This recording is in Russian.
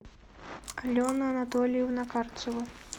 алена анатольевна карцева